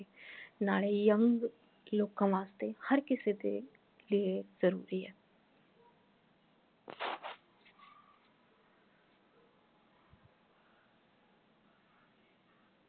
ਨਾਲੇ young ਲੋਕਾਂ ਵਾਸਤੇ ਹਰ ਕਿਸੇ ਦੇ ਲੀਏ ਜਰੂਰੀ ਹੈ